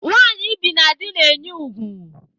Nwanyi ibi na dị na-enye ùgwù.